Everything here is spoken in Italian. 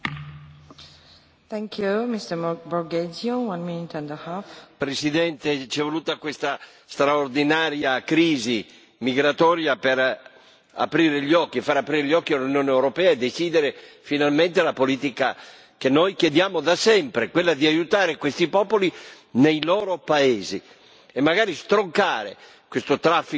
Signora Presidente, onorevoli colleghi, ci è voluta questa straordinaria crisi migratoria per aprire gli occhi e far aprire gli occhi all'Unione europea e decidere finalmente la politica che noi chiediamo da sempre, quella di aiutare questi popoli nei loro paesi e magari stroncare questo traffico immondo di esseri umani che si chiama l'immigrazione